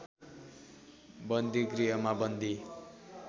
बन्दीगृहमा बन्दी